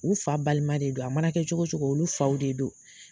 U fa balima de don, a mana kɛ cogo cogo olu faw de don